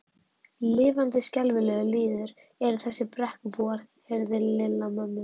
Lifandi skelfilegur lýður eru þessir Brekkubúar. heyrði Lilla mömmu